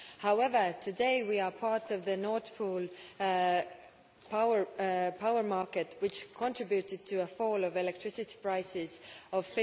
However, today we are part of the Nord Pool power market which contributed to a fall of electricity prices of